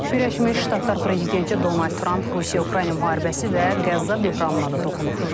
Birləşmiş Ştatlar prezidenti Donald Tramp Rusiya-Ukrayna müharibəsi və Qəzza böhranına da toxunub.